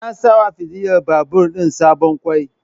Sai an sawa fitular babur din sabon kwai